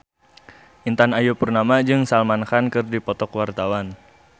Intan Ayu Purnama jeung Salman Khan keur dipoto ku wartawan